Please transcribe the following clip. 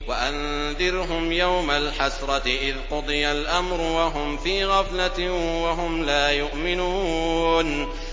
وَأَنذِرْهُمْ يَوْمَ الْحَسْرَةِ إِذْ قُضِيَ الْأَمْرُ وَهُمْ فِي غَفْلَةٍ وَهُمْ لَا يُؤْمِنُونَ